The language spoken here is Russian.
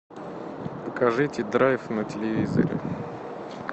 покажите драйв на телевизоре